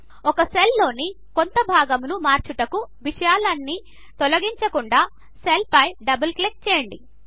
ఒక సెల్లో డేటాలోని కొంత భాగమును మార్చుటకు విషయాల అన్ని తొలగించకుండా సెల్పైడబల్ క్లిక్ చేయండి